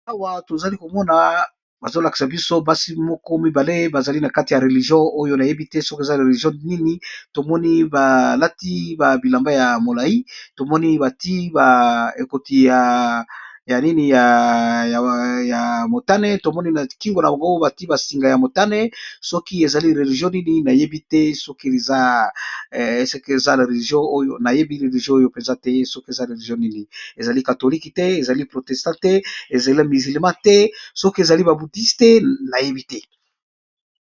Awa tozali komona bazo lakisa biso basi moko mibale bazali na kati ya religion oyo nayebi te soki eza religion nini, tomoni balati ba bilamba ya molai tomoni bati ba ekoti ya nini ya motane tomoni na kingo na bagogo bati ba singa ya motane soki ezali religion nini nayebi te, soki eza a religion nayebi religion oyo penza te soki eza religion nini ezali katholike te, ezali protestant te, ezali mizilema te soki ezali ba buddiste nayebi te.